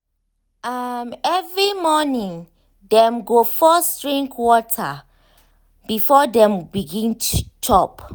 um every morning dem go first drink water before dem begin chop.